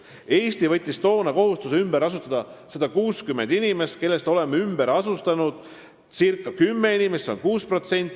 Eesti võttis toona kohustuse ümber asustada 160 inimest, kellest oleme ümber asustanud umbes 10 inimest, see on 6%.